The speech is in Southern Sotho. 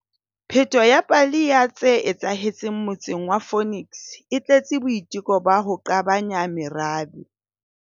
Pheto ya pale ya tse etsahetseng motseng wa Phoenix e tletse boiteko ba ho qabanya merabe.